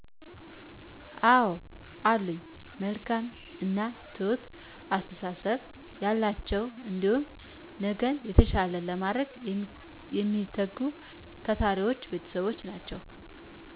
አወ አሉኝ መልካም እና ትሁት አስተሳሰብ ያላቸው እንዲሁም ነገን የተሻለ ለማድረግ የሚተጉ ታታሪ ቤተሰቦች ናቸው።